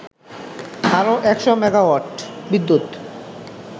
আরও ১০০ মেগাওয়াট বিদ্যুৎ